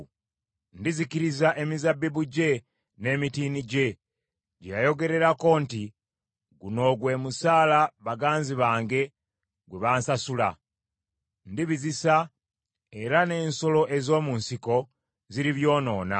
Ndizikiriza emizabbibu gye n’emitiini gye, gye yayogerako nti, ‘Guno gwe musaala baganzi bange gwe bansasula.’ Ndibizisa, era n’ensolo ez’omu nsiko ziribyonoona.